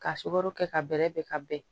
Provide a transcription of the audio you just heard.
Ka sukaro kɛ ka bɛrɛ bɛn ka bɛn